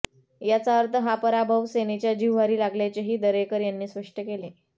याचा अर्थ हा पराभव सेनेच्या जिव्हारी लागल्याचेही दरेकर यांनी स्पष्ट केले